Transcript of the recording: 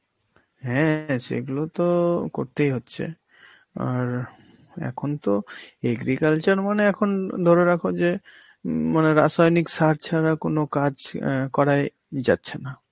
হ্যাঁ সেইগুলো তো করতেই হচ্ছে. আর এখন তো agriculture মানে এখন ধরে রাখো যে উম মানে রাসায়নিক সার ছাড়া কোন কাজ অ্যাঁ করাই যাচ্ছে না.